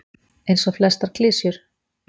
Eins og flestar klisjur.